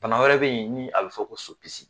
Bana wɛrɛ bɛ yen ni a bɛ fɔ ko so pisi.